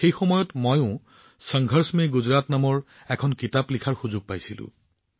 সেই সময়ত সংঘৰ্ষত গুজৰাট শীৰ্ষক এখন গ্ৰন্থ লিখাৰ সুযোগো পাইছিলোঁ